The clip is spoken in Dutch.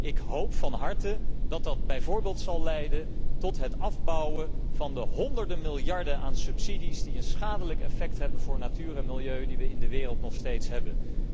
Ik hoop van harte dat dat bijvoorbeeld zal leiden tot het afbouwen van de honderden miljarden aan subsidies die een schadelijk effect hebben voor de natuur en het milieu die we in de wereld nog steeds hebben.